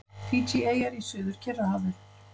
Fídjieyjar í Suður-Kyrrahafi.